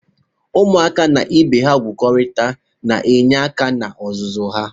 Ụmụaka na ibe ha igwukorịta na-enye aka na-ọzụzụ ha.